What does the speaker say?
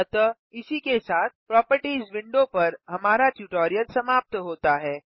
अतः इसी के साथ प्रोपर्टिज़ विंडो पर हमारा ट्यूटोरियल समाप्त होता है